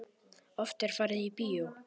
Oft er farið í bíó.